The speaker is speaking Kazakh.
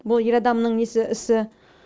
бұл ер адамның несі ісі